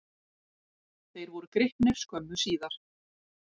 Þeir voru gripnir skömmu síðar.